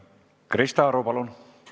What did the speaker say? Krista Aru, palun!